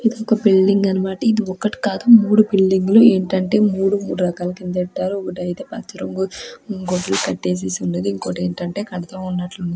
ఇదొక బిల్డింగ్ అన్నమాట. ఇది ఒకటి కాదు మూడు బిల్డింగ్లు . ఏంటంటే మూడు మూడు రకాల కిందేట్టారు. ఒకటి అయితే పచ్చ రంగు ఇంకోటి కట్టేసేసి ఉన్నది. ఇంకోటి ఏంటంటే కడతూ ఉన్నట్లు ఉంది.